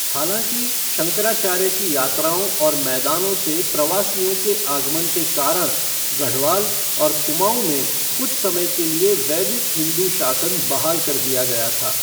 हालांकि, शंकराचार्य की यात्राओं और मैदानों से प्रवासियों के आगमन के कारण गढ़वाल और कुमाऊं में कुछ समय के लिए वैदिक हिंदू शासन बहाल कर दिया गया था।